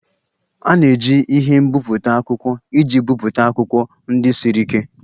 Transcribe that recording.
A na-eji ihe mbipụta akwụkwọ iji bipụta akwụkwọ ndị siri ike